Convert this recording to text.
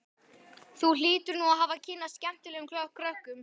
Þú hlýtur nú að hafa kynnst skemmtilegum krökkum.